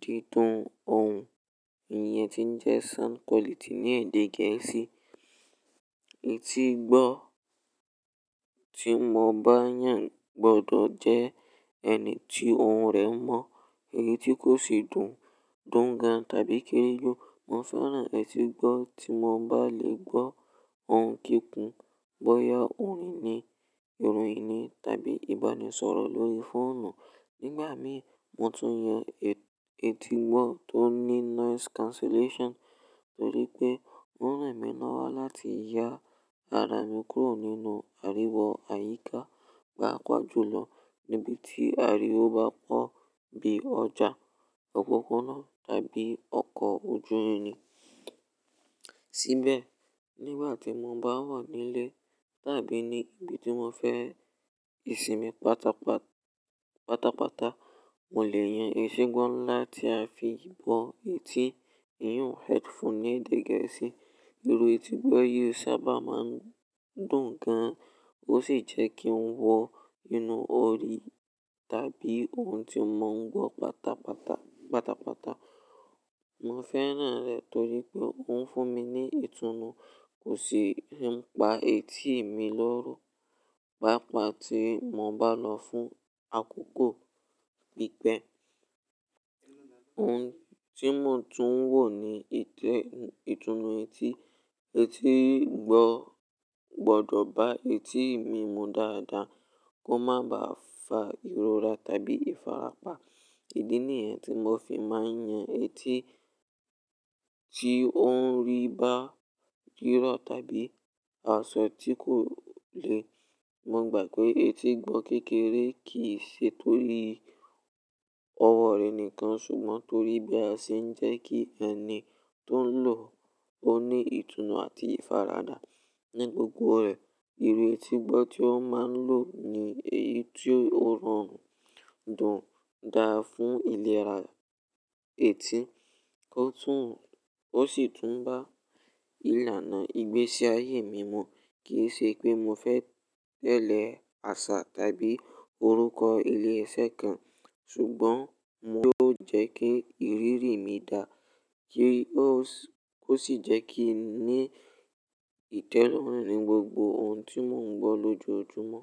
dídún ohùn, iyen ti ń jẹ́ sound quality ní èdè Gẹ̀ẹ́sì. Etígbọ́ tí mo bá yàn gbọdọ̀ jẹ́ ẹni tí ohùn rẹ mọ, èyí tí kò sì dùn gan tàbí kéyìí. Mo fẹ́ràn etígbọ́ tí mo bá lè gbọ́ ohun kíkun, bóyá orin ni, ìròyìn ni tàbí ìbánisọ̀rọ̀ lórí fóònù. Nígbà míràn mo tún yan etígbọ́ tó ní noise cancellation torí pé ó ń ran mí lọ́wọ́ láti ya ara mi kúrò nínú àríwó àyíká. Pàápàá jùlọ níbi tí àríwó bá pọ̀ bí i ọjà, òpópónà tàbí ọkọ̀ ojú irin. Síbẹ̀ nígbà tí mo bá wà nílé tàbí ní ibi tí mo fẹ́ ìsinmi pátápátá mo lè yọ etígbọ́ láti fii bo etí èyí headphone ní edw gẹ̀ẹ́sì. Irú etígbọ́ yìí sábà má ń dùn gan, ó sì jẹ́ kí n wọ inú orí tàbí ohun tí mò ń gbọ́ pátápátá. Mo fẹ́ràn rẹ̀ torí pé ó ń fún mi ní ìtùnú, kò sì ń pa etí mi lóru. Pàápàá tí mo bá lò fún àkókò, oun tii mo tún wò nii ìtùnú etí. Etígbọ́ gbọdọ̀ bá etí mi mu dáradára, kó má ba à fa ìrora tàbí ìfarapa. Ìdí ni yẹn tí mo fi máa ń yan etí tí ó ń rí bá jírọ̀ tàbí aṣọ tí kò le. Mo gbà pé etígbọ́ kékeré kì í ṣe torí ọwọ́ rẹ̀ nìkan ṣùgbọ́n torí bí a ṣe ń jẹ́ kí ẹni tó ń lò ó ní ìtùnú àti ìfaradà ní gbogbo ọ̀rẹ́. Irú etígbọ́ tí wọ́n máa ń lò ni èyí tí ó rọrùn, dùn gan fún ìlera etí, ó sì tún bá ìlànà ìgbésí ayé mi mu. Kì í ṣe pé mo fẹ́ tẹ̀lé àṣà tàbí orúkọ ilé-iṣẹ́ kan ṣùgbọ́n yio ló jẹ́ kí ìrírí mi dà, ó sì jẹ́ kí n ní ìtẹ́lọ̀rùn ní gbogbo ohun tí mò ń gbọ́ lójoojúmọ́.